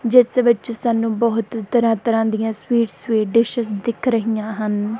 ਜਿਸ ਵਿੱਚ ਸਾਨੂੰ ਬਹੁਤ ਤਰ੍ਹਾਂ ਤਰ੍ਹਾਂ ਦੀਆਂ ਸਵੀਟ ਸਵੀਟ ਡਿਸ਼ੇਸ ਦਿਖ ਰਹੀਆਂ ਹਨ।